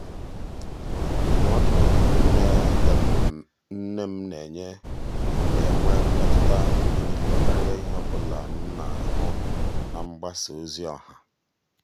ndụ́mọ́dụ́ um nnè nnè um m nà-ènwé nà-ènwé mmètụ́ta mgbe nìile kàrị́a ìhè ọ bụla m nà-àhụ́ na mgbasa um ozi ọha.